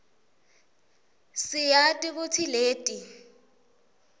siyati kutsi leti